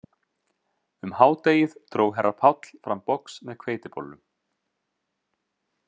Um hádegið dró herra Páll fram box með hveitibollum